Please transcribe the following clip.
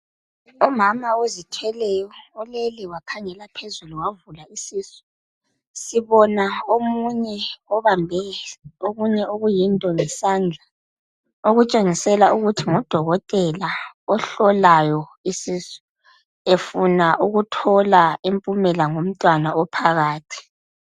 Umama ozithweleyo ulele wakhangela phezulu wavula isisu .Sibona omunye obambe okunye okuyinto ngesandla okutshengisela ukuthi ngudokotela ohlolayo isisu efuna ukuthola impumela ngomntwana ophakathi